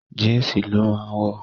Jínsì ló máa wọ̀